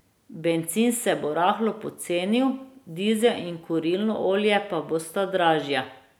Bencin se bo rahlo pocenil, dizel in kurilno olje pa bosta dražja.